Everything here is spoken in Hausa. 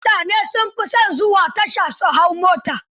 Mutane sun fi son zuwa tasha su hau mota.